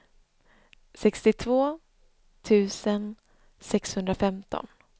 sextiotvå tusen sexhundrafemton